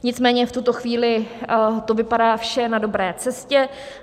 Nicméně v tuto chvíli to vypadá vše na dobré cestě.